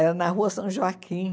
Era na Rua São Joaquim.